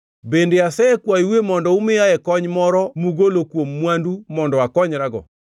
Bende asekwayoue mondo umiyae kony moro mugolo kuom mwandu mondo akonyrago,